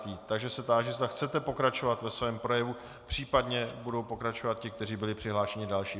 Takže se táži, zda chcete pokračovat ve svém projevu, případně budou pokračovat ti, kteří byli přihlášení další.